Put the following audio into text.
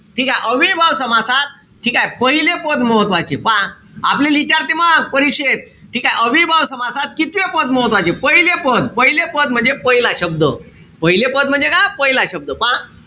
ठीकेय? अव्ययीभाव समासात ठीकेय? पहिले पद महत्वाचे. पहा. आपल्याला इचारते मंग परीक्षेत. ठीकेय? अव्ययीभाव समासात कितवे पद महत्वाचे. पहिले पद. पहिले पद म्हणजे पहिला शब्द. पहिले पद म्हणजे काय? पहिला शब्द. पहा.